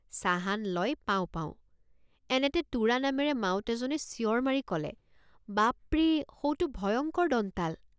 চাহান লয় পাওঁ পাওঁ এনেতে টোৰা নামেৰে মাউত এজনে চিঞৰ মাৰি কলে বাপৰে সৌটো ভয়ঙ্কৰ দন্তাল।